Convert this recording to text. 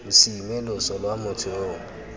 mosime loso lwa motho yo